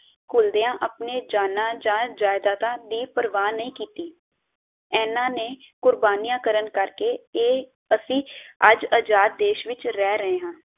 ਘੁਲਦਿਆਂ ਆਪਣੇ ਜਾਨਾ ਜਾਨ, ਜਾਇਦਾਦਾਂ ਦੀ ਪ੍ਰਵਾਹ ਨਹੀਂ ਕੀਤੀ। ਇਹਨਾਂ ਦੀ ਕੁਰਬਾਨੀਆਂ ਕਰਨ ਕਰਕੇ ਇਹ ਅਸੀਂ ਅੱਜ ਆਜ਼ਾਦ ਦੇਸ਼ ਵਿਚ ਰਹਿ ਰਹੇ ਹਾਂ